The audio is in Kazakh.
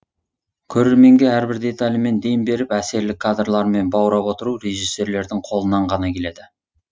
көрерменге әрбір деталімен дем беріп әсерлі кадрлармен баурап отыру режиссерлердің қолынан ғана келеді